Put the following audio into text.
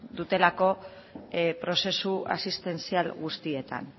dutelako prozesu asistentzial guztietan